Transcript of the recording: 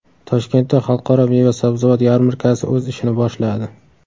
Toshkentda Xalqaro meva-sabzavot yarmarkasi o‘z ishini boshladi.